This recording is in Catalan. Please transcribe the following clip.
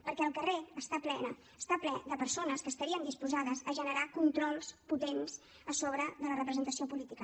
perquè el carrer està ple de persones que estarien disposades a generar controls potents sobre la representació política